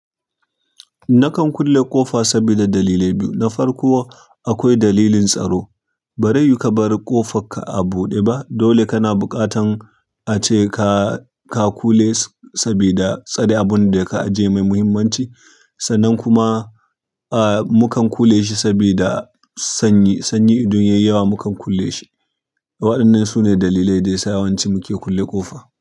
Nakan kulle ƙofa sabida dalilai biyu. Na farko akwai dalilin tsaro. Bari yuka bari ƙofarka a buɗe ba dole kana buƙatan ace ka, ka kule sabida tsare abunda ka ajiye mai muhimmanci. Sannan kuma, ah mukan kule shi sabida sanyi, sanyi idan yayi yawa mukan ƙulle shi. Waɗannan sune dalilai da yasa yawanci muke kulle ƙofa.